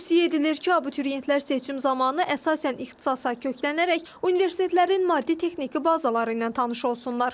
Tövsiyə edilir ki, abituriyentlər seçim zamanı əsasən ixtisasa köklənərək universitetlərin maddi-texniki bazaları ilə tanış olsunlar.